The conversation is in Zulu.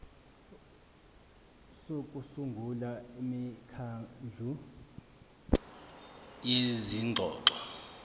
sokusungula imikhandlu yezingxoxo